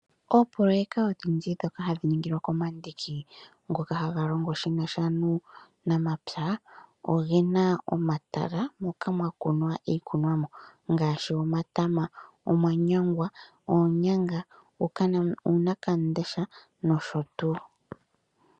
Oopoloyeka odhindji ndhoka hadhi ningwa komandiki ngoka ge nasha nuunamapya, odhi na omatala moka ha mu kunwa iikunwamo ngaashi omatama, omanyangwa, oonyanga, uunawamundesha nosho tuu.ee